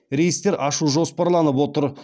рейстер ашу жоспарланып отыр